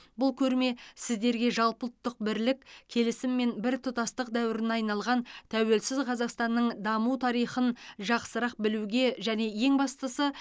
бұл көрме сіздерге жалпыұлттық бірлік келісім мен біртұтастық дәуіріне айналған тәуелсіз қазақстанның даму тарихын жақсырақ білуге және ең бастысы